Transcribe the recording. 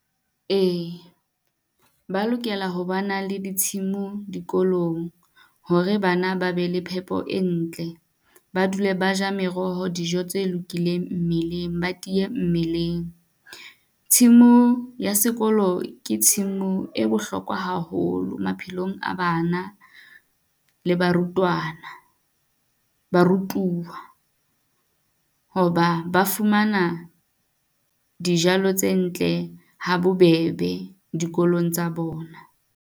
Ee, ee ba lokela ho ba na le ditshemo dikolong hore bana ba be le phepo e ntle. Ba dule ba ja meroho dijo tse lokileng mmeleng, ba tiye mmeleng. Tshimo ya sekolo ke tshimu e bohlokwa haholo maphelong a bana le barutwana, barutuwa. Hoba ba fumana dijalo tse ntle ha bobebe dikolong tsa bona.